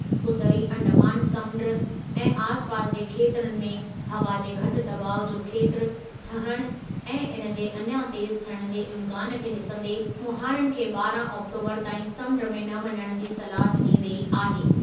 उतरी अंडमान समुंड ऐं आसिपासि जे खेत्रनि में हवा जे घटि दॿाउ जो खेत्रु ठहिण ऐं इन जे अञा तेज़ु थियण जे इम्कानु खे ॾिसंदे मुहाणनि खे ॿारह आक्टोबरु ताईं समुंड में न वञण जी सलाह ॾिनी वेई आहे।